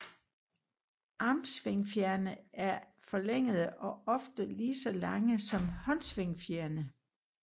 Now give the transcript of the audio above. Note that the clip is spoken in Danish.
Armsvingfjerne er forlængede og ofte lige så lange som håndsvingfjerene